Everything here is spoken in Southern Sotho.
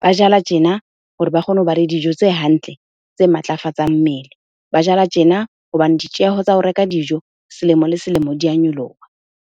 Ba jala tjena hore ba kgone hoba le dijo tse hantle, tse matlafatsa mmele. Ba jala tjena hobane ditjeho tsa ho reka dijo selemo le selemo di a nyoloha.